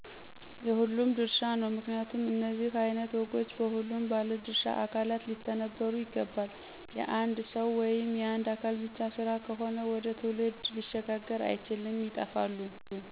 የሁሉም ድርሻ ነው። ምክንያቱም እነዚህ አይነት ወጎች በሁሉም ባለድሻ አካላት ሊተነበሩ ይገባል። የአንድ ሰዉ ወይም የአንድ አካል ብቻ ስራ ከሆነ ወደ ትውልድ ሊሸጋገር አይችልም ይጠፋሉ።